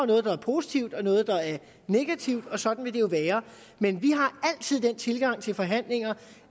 noget der er positivt og noget der er negativt og sådan vil det være men vi har altid den tilgang til forhandlinger